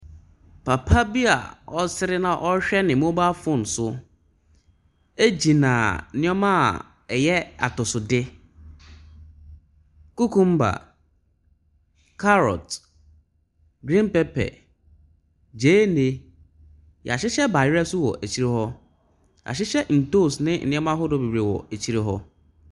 Papa bi a ɔresere na ɔrehwɛ ne mobile phone so gyina nneɛma a ɛyɛ atosode. Kukumba, carrot, green pepper, gyeene, wɔahyehyɛ bayerɛ nso wɔ akyire hɔ. Wɔahyehyɛ ntoosi ne nneɛma ahodoɔ bebree wɔ akyire hɔ.